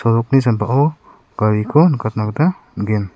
sambao gariko nikatna gita man·gen.